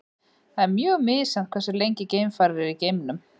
það er mjög misjafnt hversu lengi geimfarar eru í geimnum